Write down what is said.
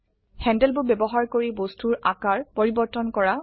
handle বোৰ ব্যবহাৰ কৰি বস্তুৰ আকাৰ পৰিবৰ্তন কৰা